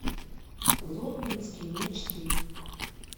лондонские мечты